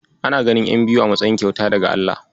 Ana ganin ƴan biyu a matsayin kyauta daga Allah.